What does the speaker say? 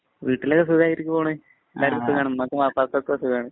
വീട്ടില് സുഖയിരിക്കുവാണ്. എല്ലാര്‍ക്കും സുഖാണ്. ഉമ്മാക്കും, വാപ്പാക്കും ഒക്കെ സുഖാണ്.